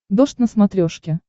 дождь на смотрешке